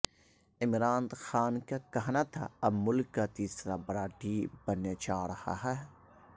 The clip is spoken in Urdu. عمران خان کا کہنا تھا اب ملک کا تیسرا بڑا ڈیم بننے جا رہا ہے